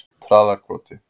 Traðarkoti